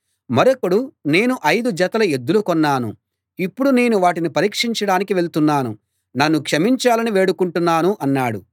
మరొకడు నేను ఐదు జతల ఎద్దులు కొన్నాను ఇప్పుడు నేను వాటిని పరీక్షించడానికి వెళ్తున్నాను నన్ను క్షమించాలని వేడుకుంటున్నాను అన్నాడు